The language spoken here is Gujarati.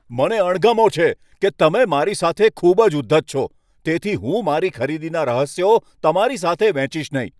મને અણગમો છે કે તમે મારી સાથે ખૂબ જ ઉદ્ધત છો, તેથી હું મારી ખરીદીના રહસ્યો તમારી સાથે વહેંચીશ નહીં.